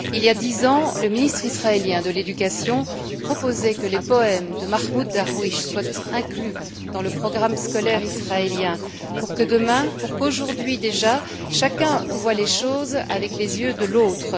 Il y a dix ans, le ministre israélien de l'éducation proposait que les poèmes de Mahmoud Darwich soient inclus dans le programme scolaire israélien pour que demain, voire aujourd'hui déjà, chacun voie les choses avec les yeux de l'autre.